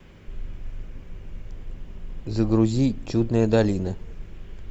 загрузи чудная долина